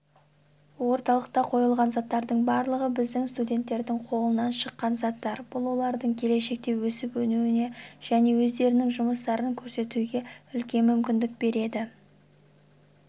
орталықта қойылған заттардың барлығы біздің студенттердің қолынан шыққан заттар бұл олардың келешекте өсіп өнуіне және өздерінің жұмыстарын көрсетуіне үлкен мүмкіндік береді